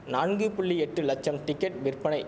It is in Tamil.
நான்கு புள்ளி எட்டு லட்சம் டிக்கெட் விற்பனை